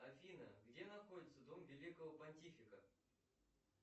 афина где находится дом великого пантифика